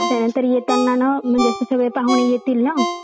अं रश्मीका मंधाना जी चे अह world crush मंहून अह famous झालीले आहे south internet चे